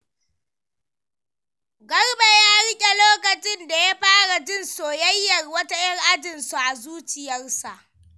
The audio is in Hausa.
Garba ya rikice lokacin da ya fara jin soyayyar wata ‘yar ajinsu a zuciyarsa.